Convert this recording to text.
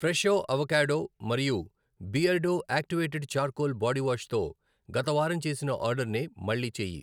Fresho avocado మరియు Beardo activated charcoal body wash తో గత వారం చేసిన ఆర్డరర్నే మళ్ళీ చేయి.